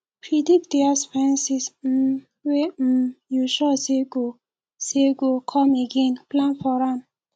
predict di expenses um wey um you sure sey go sey go come again plan for am